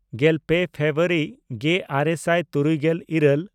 ᱜᱮᱞᱯᱮ ᱯᱷᱮᱵᱨᱩᱣᱟᱨᱤ ᱜᱮᱼᱟᱨᱮ ᱥᱟᱭ ᱛᱩᱨᱩᱭᱜᱮᱞ ᱤᱨᱟᱹᱞ